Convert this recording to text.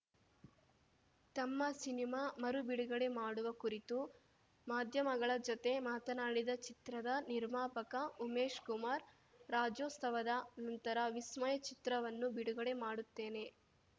ತಮ್ಮ ಸಿನಿಮಾ ಮರು ಬಿಡುಗಡೆ ಮಾಡುವ ಕುರಿತು ಮಾಧ್ಯಮಗಳ ಜೊತೆ ಮಾತನಾಡಿದ ಚಿತ್ರದ ನಿರ್ಮಾಪಕ ಉಮೇಶ್‌ ಕುಮಾರ್‌ ರಾಜ್ಯೋತ್ಸವದ ನಂತರ ವಿಸ್ಮಯ ಚಿತ್ರವನ್ನು ಬಿಡುಗಡೆ ಮಾಡುತ್ತೇನೆ